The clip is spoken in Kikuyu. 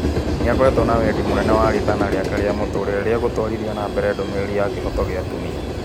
Nĩ akoragwo na wendi mũnene wa rĩtana rĩake rĩa mũtũrĩre rĩa gũtũarithia nambere ndũmĩrĩri ya kĩhooto kĩa atumia.